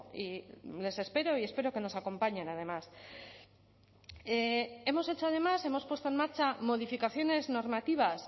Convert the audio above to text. y les espero y espero que nos acompañen además hemos puesto en marcha además modificaciones normativas